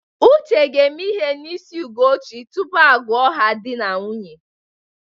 Uche ga-eme ihe n'isi Ugochi tupu a gụọ ha ka dị na nwunye.